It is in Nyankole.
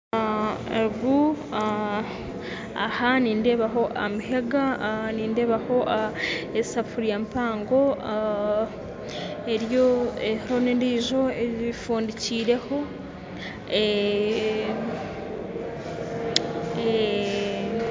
aha nindebaho amahega nindebaho esefuriya empango eriho nendi efundikireho